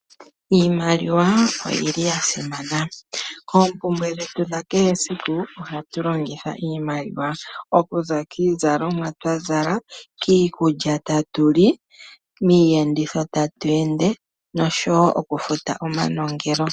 Iimaliwa oyili yasimana oompumbwe dhetu dha kehe esiku ohatu longitha iimaliwa okuza kiizalomwa twazala, kiikulya tatu li, miiyenditho tatu ende nosho wo okufuta omanongelo.